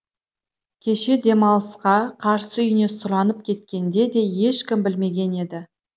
кеше демалысқа қарсы үйіне сұранып кеткенде де ешкім білмеген еді